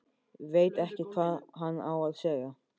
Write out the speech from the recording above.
Veit ekki hvað hann á að segja.